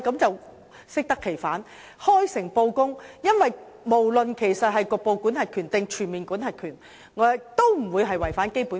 政府必須開誠布公，因為不論是局部管轄權還是全面管轄權，兩者也不會違反《基本法》。